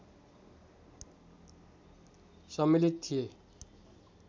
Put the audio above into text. सम्मिलित थिए